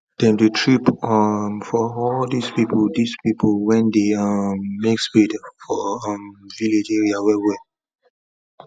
them dey trip um for all these people these people wen dey um make spade for um village area well well